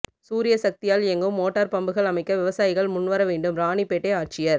சூரியசக்தியால் இயங்கும் மோட்டாா் பம்புகள் அமைக்க விவசாயிகள் முன்வர வேண்டும்ராணிப்பேட்டை ஆட்சியா்